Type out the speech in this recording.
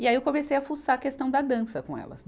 E aí eu comecei a fuçar a questão da dança com elas.